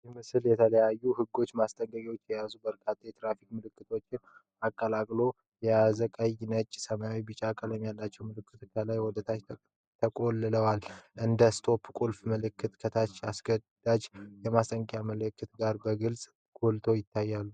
ይህ ምስል የየተለያዩ ህጎችና ማስጠንቀቂያዎች የያዙ በርካታ የትራፊክ ምልክቶችን አቀላቅሎ ያሳያል። ቀይ፣ ነጭ፣ ሰማያዊና ቢጫ ቀለም ያላቸው ምልክቶች ከላይ ወደ ታች ተቆልለዋል። እንደ STOP፣ ቁልፍ መልእክቶች ከሌሎች አስገዳጅና የማስጠንቀቂያ ምልክቶች ጋር በግልጽ ጎልተው ይታያሉ።